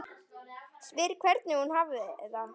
Spyr hvernig hún hafi það.